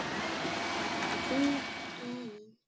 Hver ein